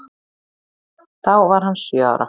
Þá var hann sjö ára.